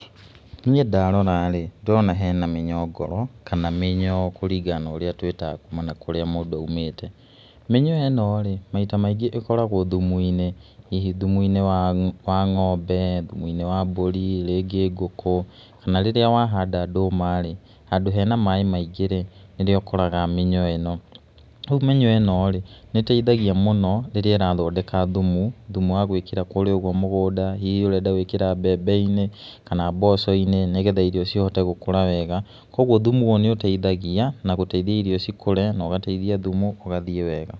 Niĩ ndarora-rĩ nĩndĩrona hena mĩnyongoro kana mĩnyoo kũringana na ũrĩa tũĩtaga kuma na kũrĩa mũndũ aumĩte. Mĩnyoo ĩno rĩ maita maingĩ ĩkoragwo thumu-inĩ, hihi thumu-inĩ wa ng'ombe, thumu-ini wa mbũri rĩngĩ ngũkũ kana rĩrĩa wahanda ndũma-rĩ handu hena maĩ maingĩ rĩ nĩrĩo ũkoraga mĩnyoo ĩnó. Rĩu mĩnyoo ĩno rĩ nĩ ĩteithagia mũno rĩrĩa ĩrathondeka thumu, thumu wa gũĩkĩra kũrĩa mũgũnda hihi ũrenda gũĩkĩra mbembe-inĩ kana mboco-inĩ nĩgetha irio cihote gũkũra wega kwa ũguo thumu ũyũ nĩ ũteithagia na gũteithia irio cikũre na ũgateithia thumu ũgathiĩ wega.